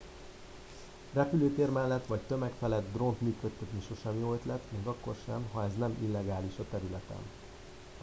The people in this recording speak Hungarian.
repülőtér mellett vagy tömeg felett drónt működtetni sosem jó ötlet még akkor sem ha ez nem illegális a területen